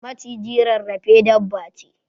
Maciji rarrafe dabba ce